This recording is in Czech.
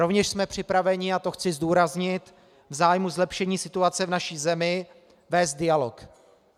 Rovněž jsme připraveni, a to chci zdůraznit, v zájmu zlepšení situace v naší zemi vést dialog.